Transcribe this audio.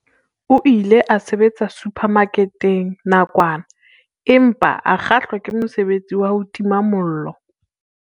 O ile a sebetsa suphamaketeng nakwana empa a kgahlwa ke mosebetsi wa ho tima mollo.